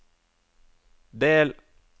del